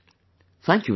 Thank you very much